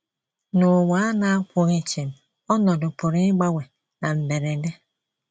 N’ụwa a na - akwụghị chịm, ọnọdụ pụrụ ịgbanwe na mberede.